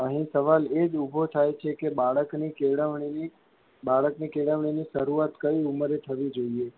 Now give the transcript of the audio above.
અહી સવાલ એજ ઊભો થાય છે કે બાળક ની કેળવણીની બાળક ની કેળવણી શરૂઆત કયી ઉમરે થવી જોઇયે.